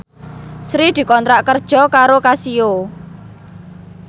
Sri dikontrak kerja karo Casio